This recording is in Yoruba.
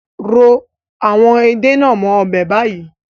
Ro àwọn Ede nàá mó ọbẹ̀ bayi